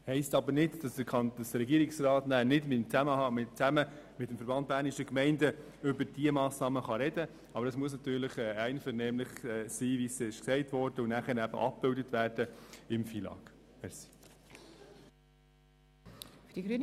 Das heisst aber nicht, dass der Regierungsrat nachher nicht zusammen mit dem VBG über diese Massnahmen sprechen kann, aber es muss einvernehmlich geschehen und dann im FILAG abgebildet werden.